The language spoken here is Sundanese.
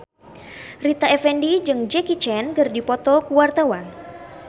Rita Effendy jeung Jackie Chan keur dipoto ku wartawan